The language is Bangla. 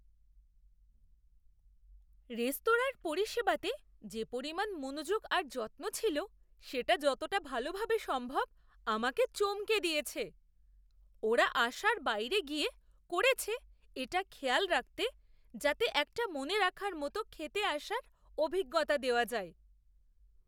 রেস্তোরাঁর পরিষেবাতে যে পরিমাণ মনোযোগ আর যত্ন ছিল সেটা যতটা ভালোভাবে সম্ভব আমাকে চমকে দিয়েছে! ওঁরা আশার বাইরে গিয়ে করেছে এটা খেয়াল রাখতে যাতে একটা মনে রাখার মতো খেতে আসার অভিজ্ঞতা দেওয়া যায়!